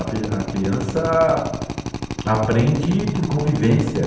A criança aprende por convivência.